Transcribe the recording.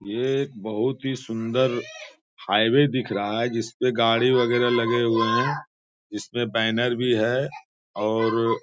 ये एक बहुत ही सुन्दर हाईवे दिख रहा है जिस पर गाड़ी वगैरह लगे हुए है इसमें बैनर भी है और --